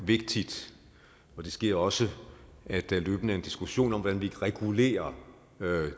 vigtigt og det sker også at der løbende er en diskussion om hvordan vi regulerer